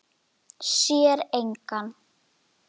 Sér engan.